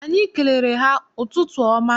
Anyị kelere ha ụtụtụ ọma.